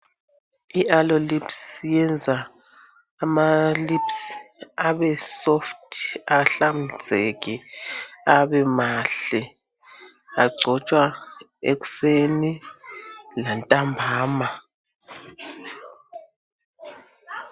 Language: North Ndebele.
I aloe lips iyenza amalips abe soft ahlambuzeke Abe mahle agcotshwa ekuseni lantambama